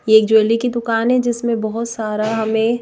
ये एक ज्वेलरी की दुकान है जिसमें बहुत सारा हमें--